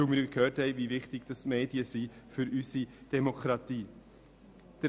Denn wir haben ja gehört, wie wichtig die Medien für unsere Demokratie sind.